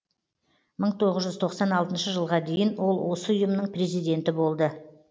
мың тоғыз жүз тоқсан алтыншы жылға дейін ол осы ұйымның президенті болды